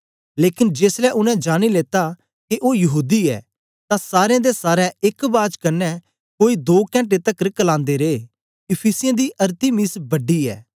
लेकन जेसलै उनै जानी लेता के ओ यहूदी ऐ तां सारें दे सारें एक बाज कन्ने कोई दो कैंटे तकर करलांदे रे इफिसियों दी अरतिमिस बड़ी ऐ